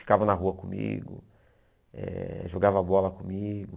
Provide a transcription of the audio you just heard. Ficava na rua comigo, eh jogava bola comigo.